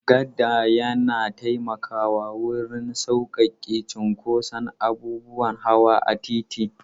Gada yana taimakawa wurin sauƙaƙe cinkoson abubuwan hawa a titi.